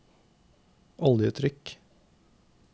oljetrykk